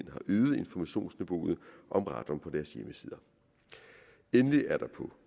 øget informationsniveauet om radon på deres hjemmesider endelig er der på